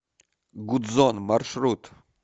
гудзон маршрут